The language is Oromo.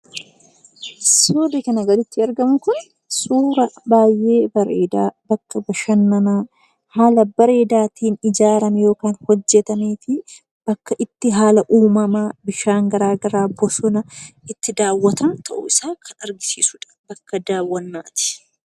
Suurri kanaa gaditti argamu kun suuraa baay'ee bareedaa bakka bashannanaa haala bareedaatiin ijaarame yookiin hojjatamee fi bakka itti haala uumamaa garaagaraa bosona itti daawwatan ta'uu isaa kan agarsiisu bakka daawwannaati.